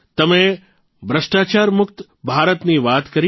તમે ભ્રષ્ટાચારમુક્ત ભારતની વાત કરી